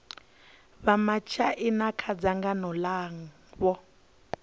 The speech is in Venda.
vha matshaina kha dzangano langa